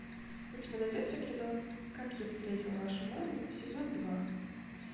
у тебя найдется кино как я встретил вашу маму сезон два